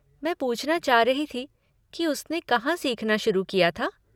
मैं पूछना चाह रही थी कि उसने कहाँ सीखना शुरू किया था।